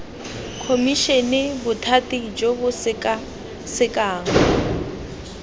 khomišene bothati jo bo sekasekang